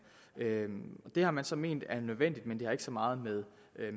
det har man så ment er nødvendigt men det har ikke så meget med